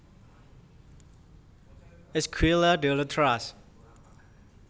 Escuela de Letras